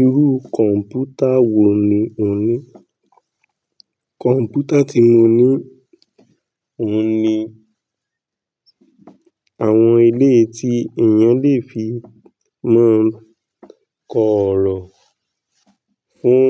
Irú kọ̀ǹpútà wò ní ò ń ní? Kọ̀ǹpútà tí mo ní òun ni àwọn eleyi tí èèyàn lè fi máa ń kọ ọ̀rọ̀ fún